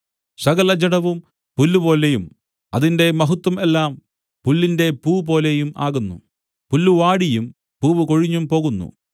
സകലജഡവും പുല്ലുപോലെയും അതിന്റെ മഹത്വം എല്ലാം പുല്ലിന്റെ പൂപോലെയും ആകുന്നു പുല്ല് വാടിയും പൂവ് കൊഴിഞ്ഞും പോകുന്നു